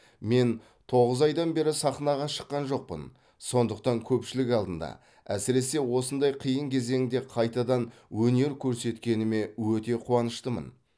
мен тоғыз айдан бері сахнаға шыққан жоқпын сондықтан көпшілік алдында әсіресе осындай қиын кезеңде қайтадан өнер көрсеткеніме өте қуаныштымын